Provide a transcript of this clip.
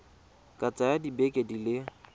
ka tsaya dibeke di le